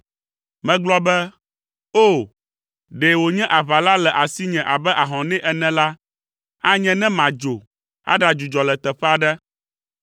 Megblɔ be, “O! Ɖe wònye aʋala le asinye abe ahɔnɛ ene la, anye ne madzo aɖadzudzɔ le teƒe aɖe.